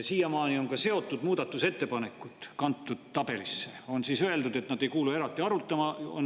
Siiamaani on ka seotud muudatusettepanekud kantud tabelisse ja siis on öeldud, et nad ei kuulu eraldi arutamisele.